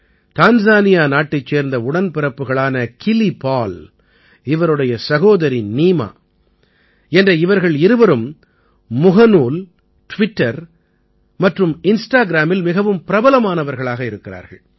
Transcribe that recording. Tanzania நாட்டைச் சேர்ந்த உடன்பிறப்புகளான கிலி பால் இவருடைய சகோதரி நீமா என்ற இவர்கள் இருவரும் முகநூல் ட்விட்டர் மற்றும் இன்ஸ்டாகிராமில் மிகவும் பிரபலமானவர்களாக இருக்கிறார்கள்